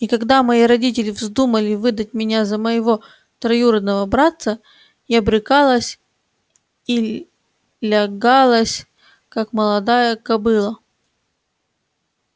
и когда мои родители вздумали выдать меня за моего троюродного братца я брыкалась и лягалась как молодая кобыла